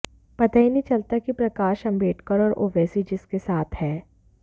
पता ही नहीं चलता कि प्रकाश आंबेडकर और ओवैसी किसके साथ हैं